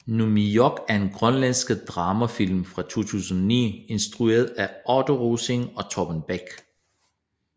Nuummioq er en grønlandsk dramafilm fra 2009 instrueret af Otto Rosing og Torben Bech